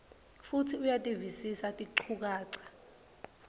futsi uyativisisa tinchukaca